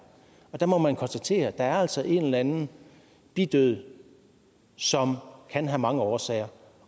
der må man konstatere at der altså er en eller anden bidød som kan have mange årsager